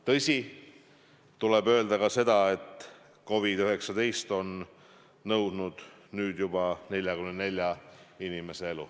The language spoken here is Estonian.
Tõsi, tuleb öelda seda, et COVID-19 on nõudnud nüüd juba 44 inimese elu.